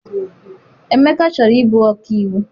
Emeka chọrọ ịbụ ọkaiwu.